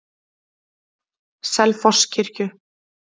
Selfosskirkju